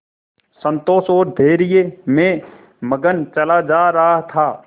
संतोष और धैर्य में मगन चला जा रहा था